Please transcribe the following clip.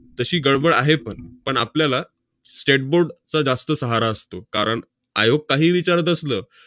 तशी गडबड आहे पण, पण आपल्याला state board चं जास्त असतो, कारण आयोग काहीही विचारत असलं,